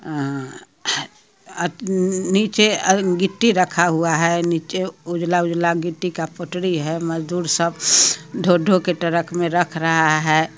आ नीचे गीटी रखा हुई है नीचे उजला उजला गिटी का पूटी है मजदूर सब ढो ढो के टरक मे रख रहा है --